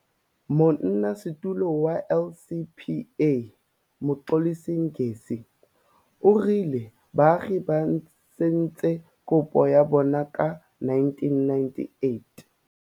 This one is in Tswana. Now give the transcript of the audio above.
Monnasetulo wa LCPA, Mxolisi Ngesi, o rile baagi ba tsentse kopo ya bona ka 1998.